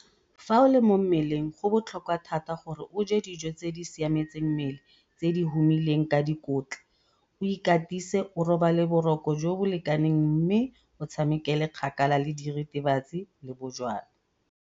Fa o le mo mmeleng go botlhokwa thata gore o je dijo tse di siametseng mmele tse di humileng ka dikotla, o ikatise, o robale boroko jo bo lekaneng mme o tshamekele kgakala le diritibatsi le bojalwa.